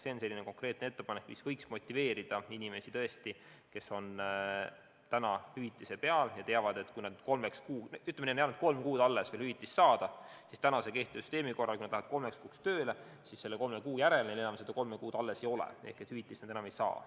See on konkreetne ettepanek, mis võiks motiveerida inimesi, kes on praegu hüvitise peal ja teavad, ütleme, et neil on jäänud veel kolm kuud hüvitist saada, siis täna kehtiva süsteemi korral, kui nad lähevad vahepeal näiteks kolmeks kuuks tööle, siis selle kolme kuu järel neil seda kolme kuud enam alles ei ole ehk hüvitist nad enam ei saa.